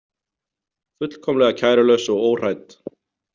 Fullkomlega kærulaus og óhrædd.